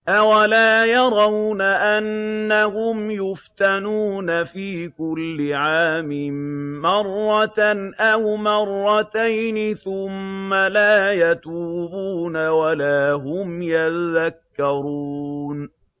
أَوَلَا يَرَوْنَ أَنَّهُمْ يُفْتَنُونَ فِي كُلِّ عَامٍ مَّرَّةً أَوْ مَرَّتَيْنِ ثُمَّ لَا يَتُوبُونَ وَلَا هُمْ يَذَّكَّرُونَ